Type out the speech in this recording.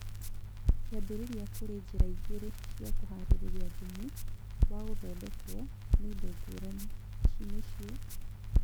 Kĩambĩrĩria kũrĩ njĩra igĩrĩ cia kũharĩrĩria thumu wa gũthondekwo nĩ indo ngũrani. ici nĩcio